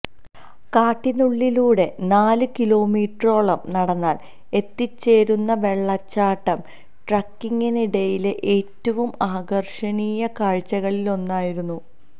കാട്ടിനുള്ളിലൂടെ നാല് കീലോമീറ്ററോളം നടന്നാൽ എത്തിച്ചേരുന്ന വെള്ളച്ചാട്ടം ട്രക്കിംഗിനിടയിലെ ഏറ്റവും ആകർഷണീയ കാഴ്ചകളിലൊന്നായിരുന്നു